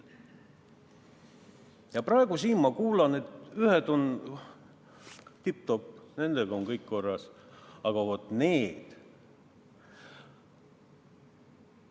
Ja praegu ma siin kuulen, et ühed on tipp-topp, nendega on kõik korras, aga vat need!